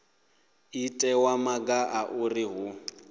itiwa maga a uri hu